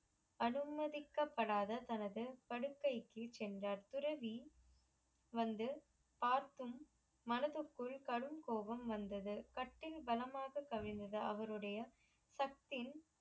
அனுமதிக்கப்படதா தனது படுக்கைக்கு சென்றார் துறவி வந்து பார்த்தும் மனசுக்குள் கடும் கோவம் வந்தது கட்டில் பலமா அமரவைத்தக கவிழ்ந்தது அவருடைய சக்த்தின்